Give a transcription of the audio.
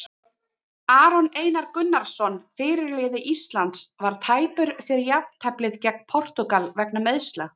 Aron Einar Gunnarsson, fyrirliði Íslands, var tæpur fyrir jafnteflið gegn Portúgal vegna meiðsla.